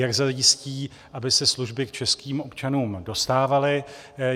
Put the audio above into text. Jak zajistí, aby se služby k českým občanům dostávaly?